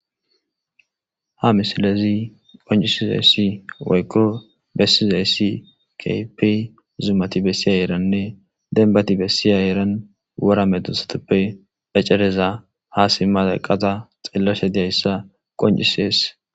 ha misilezi qoncisizayssi woykko bessizayssi kapi zumati bessi a eranne denbati bessiya eran wora medusatoppe phaccereza haase malaqata xillasha diyayssa qoncisees